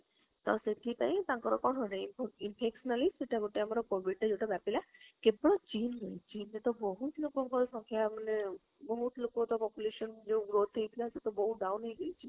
ଆଉ ସେଠି ପାଇଁ ତାଙ୍କର କଣ ହୋଉଛି infection ସେଟା ଗୋଟେ ଆମର COVID ଯୋଉଟା ବ୍ୟାପିଲା କିନ୍ତୁ ଚୀନରେ ଚୀନରେ ତ ବହୁତ ଲୋକଙ୍କ ସଂଖ୍ୟା ମାନେ, ବହୁତ ଲୋକ ତା population ଯୋଉ growth ହେଇଥିଲା ସେ ତା ବହୁତ down ହେଇ ଯାଇଛି